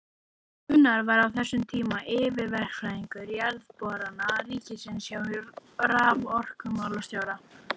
Gunnar var á þessum tíma yfirverkfræðingur Jarðborana ríkisins hjá raforkumálastjóra.